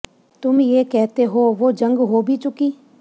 ਤੁਮ ਯੇ ਕਹਤੇ ਹੋ ਵੋ ਜੰਗ ਹੋ ਭੀ ਚੁਕੀ